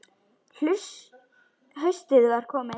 Haustið var komið.